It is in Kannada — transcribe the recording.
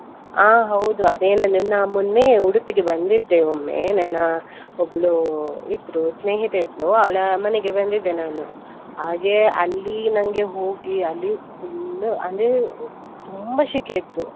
ಹಾ ಹೌದು ಅದೇ ನಾ ಮೊನ್ನೆ ಉಡುಪಿಗೆ ಬಂದಿದ್ದೆ ಒಮ್ಮೆ, ನನ್ನ ಒಬ್ಳು ಇದ್ರು ಸ್ನೇಹಿತೆ ಇದ್ಳು, ಅವಳ ಮನೆಗೆ ಬಂದಿದ್ದೆ ನಾನು ಹಾಗೆ ಅಲ್ಲಿ ನಂಗೆ ಹೋಗಿ ಅಲ್ಲಿ full ಅಂದ್ರೆ ತುಂಬಾ ಶೆಕೆ ಇತ್ತು.